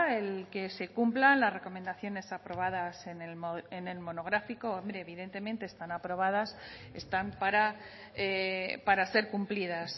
el que se cumplan las recomendaciones aprobadas en el monográfico hombre evidentemente están aprobadas están para para ser cumplidas